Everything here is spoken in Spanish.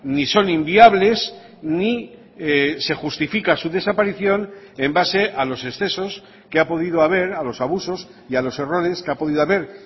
ni son inviables ni se justifica su desaparición en base a los excesos que ha podido haber a los abusos y a los errores que ha podido haber